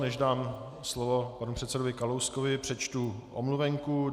Než dám slovo panu předsedovi Kalouskovi, přečtu omluvenku.